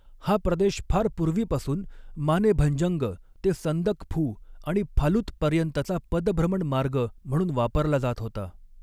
हा प्रदेश फार पूर्वीपासून मानेभंजंग ते संदकफू आणि फालुत पर्यंतचा पदभ्रमण मार्ग म्हणून वापरला जात होता.